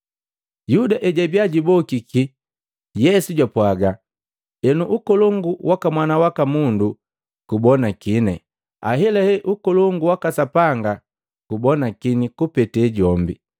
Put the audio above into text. Yuda ejwabiya jubokiki, Yesu jwapwaga, “Henu ukolongu waka Mwana waka Mundu gubonakini, ahelahe ukolongu waka Sapanga gubonakini kupete jombi.